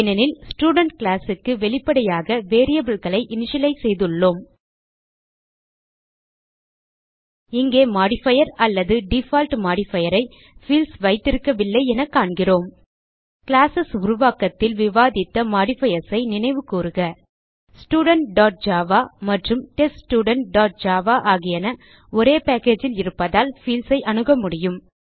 ஏனெனில் ஸ்டூடென்ட் classக்கு வெளிப்படையாக variableகளை இனிஷியலைஸ் செய்துள்ளோம் இங்கே மோடிஃபயர் அல்லது டிஃபால்ட் மோடிஃபயர் ஐ பீல்ட்ஸ் வைத்திருக்கவில்லை என காண்கிறோம் கிளாஸ் உருவாக்கத்தில் விவாதித்த மாடிஃபயர்ஸ் ஐ நினைவுகூருக studentஜாவா மற்றும் teststudentஜாவா ஆகியன ஒரே பேக்கேஜ் ல் இருப்பதால் பீல்ட்ஸ் ஐ அணுக முடியும